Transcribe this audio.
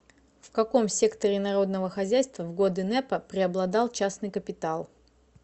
в каком секторе народного хозяйства в годы нэпа преобладал частный капитал